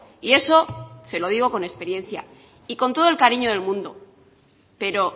y eso se lo digo con experiencia y con todo el cariño del mundo pero